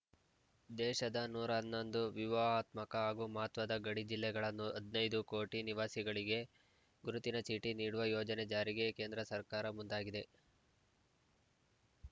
ದೇಶದ ನೂರ ಹನ್ನೊಂದು ವ್ಯೂಹಾತ್ಮಕ ಮತ್ತು ಮಹತ್ವದ ಗಡಿ ಜಿಲ್ಲೆಗಳ ಹದ್ ನೈದು ಕೋಟಿ ನಿವಾಸಿಗಳಿಗೆ ಗುರುತಿನ ಚೀಟಿ ನೀಡುವ ಯೋಜನೆ ಜಾರಿಗೆ ಕೇಂದ್ರ ಸರ್ಕಾರ ಮುಂದಾಗಿದೆ